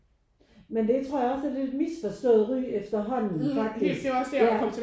Men det tror jeg også er et misforstået ry efterhånden faktisk ja